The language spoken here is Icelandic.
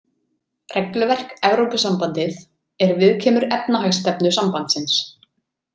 Regluverk Evrópusambandið er viðkemur efnahagsstefnu sambandsins.